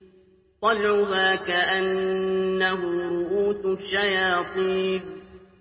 طَلْعُهَا كَأَنَّهُ رُءُوسُ الشَّيَاطِينِ